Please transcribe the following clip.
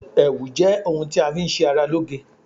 ẹwù jẹ òun tá fi n ṣe ará lo'ge